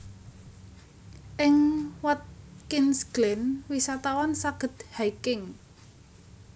Ing Watkins Glen wisatawan saged hiking